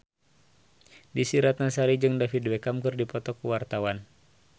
Desy Ratnasari jeung David Beckham keur dipoto ku wartawan